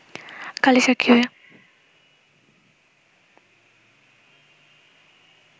কালের সাক্ষী হয়ে